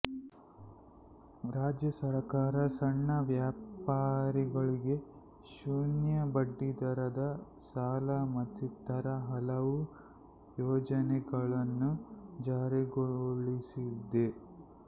ರಾಜ್ಯ ಸರಕಾರ ಸಣ್ಣ ವ್ಯಾಪಾರಿಗಳಿಗೆ ಶೂನ್ಯ ಬಡ್ಡಿ ದರದ ಸಾಲ ಮತ್ತಿತರ ಹಲವು ಯೋಜನೆಗಳನ್ನು ಜಾರಿಗೊಳಿಸಿದೆ